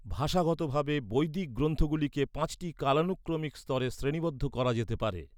ভাষাগতভাবে, বৈদিক গ্রন্থগুলিকে পাঁচটি কালানুক্রমিক স্তরে শ্রেণীবদ্ধ করা যেতে পারে